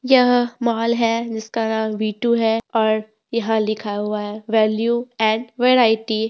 यह मॉल है जिसका नाम वी टू है और यहां लिखा हुआ है वैल्यू एंड वैरायटी --